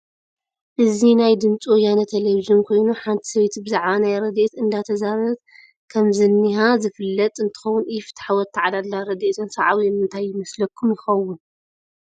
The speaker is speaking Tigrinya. እዚ ናይ ድምፂ ወያነ ተለቨጅን ኮይኑ ሓንቲ ሰበይቲ ብዛዕባ ናይ ረዴኤት እደተዛረቤት ከም ዝንሃ ዝፍለጥ እንትከውን ኢ-ፍትሓዊ ኣተዓዳድላ ረዳኤትን ሳዕቤኑን እንታይ ይመስለኩም ይኮን?